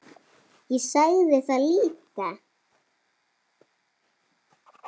Ég sagði það líka.